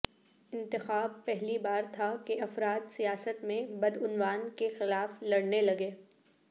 انتخاب پہلی بار تھا کہ افراد سیاست میں بدعنوان کے خلاف لڑنے لگے